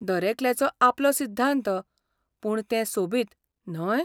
दरेकल्याचो आपलो सिध्दांत, पूण तें सोबीत, न्हय?